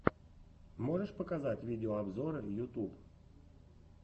можешь показать видеообзоры ютуб